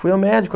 Fui ao médico.